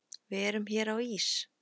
Við erum hér á Ís